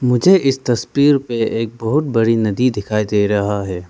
मुझे इस तस्वीर पर एक बहुत बड़ी नदी दिखाई दे रहा है।